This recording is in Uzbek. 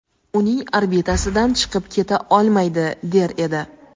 uning orbitasidan chiqib keta olmaydi der edi.